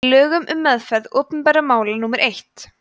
í lögum um meðferð opinberra mála númer